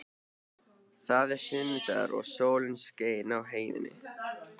Það var sunnudagur og sól skein í heiði.